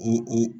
I i